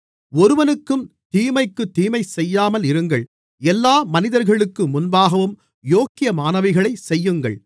ஒருவனுக்கும் தீமைக்குத் தீமை செய்யாமல் இருங்கள் எல்லா மனிதர்களுக்கு முன்பாகவும் யோக்கியமானவைகளைச் செய்யுங்கள்